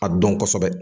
A dɔn kosɛbɛ